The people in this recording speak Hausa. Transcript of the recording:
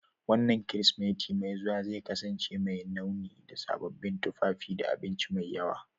Wannan Kirsimeti mai zuwa zai kasance mai launi da sababbin tufafi da abinci mai yawa